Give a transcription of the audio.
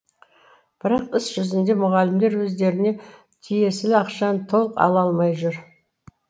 бірақ іс жүзінде мұғалімдер өздеріне тиесілі ақшаны толық ала алмай жүр